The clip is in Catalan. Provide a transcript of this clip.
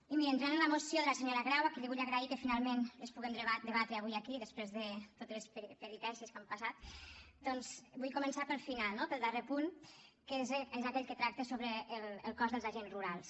i miri entrant en la moció de la senyora grau a qui li vull agrair que finalment es puguin debatre avui aquí després de totes les peripècies que han passat doncs vull començar pel final no pel darrer punt que és aquell que tracta sobre el cos dels agents rurals